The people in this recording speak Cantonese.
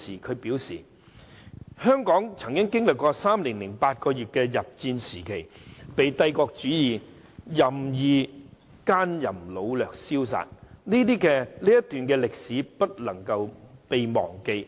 她表示："香港曾經歷3年8個月的日佔時期，帝國主義者任意姦淫擄掠燒殺，這段歷史不能夠被忘記。